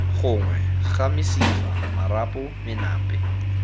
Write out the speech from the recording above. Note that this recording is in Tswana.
gongwe ga mesifa marapo menape